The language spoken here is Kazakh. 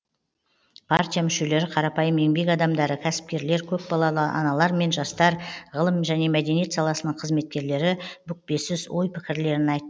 партия мүшелері қарапайым еңбек адамдары кәсіпкерлер көпбалалы аналар мен жастар ғылым және мәдениет саласының қызметкерлері бүкпесіз ой пікірлерін айтты